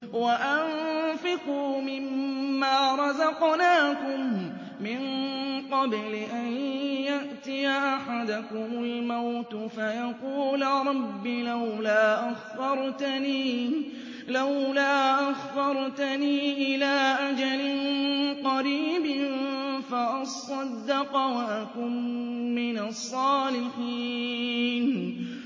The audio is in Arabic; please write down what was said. وَأَنفِقُوا مِن مَّا رَزَقْنَاكُم مِّن قَبْلِ أَن يَأْتِيَ أَحَدَكُمُ الْمَوْتُ فَيَقُولَ رَبِّ لَوْلَا أَخَّرْتَنِي إِلَىٰ أَجَلٍ قَرِيبٍ فَأَصَّدَّقَ وَأَكُن مِّنَ الصَّالِحِينَ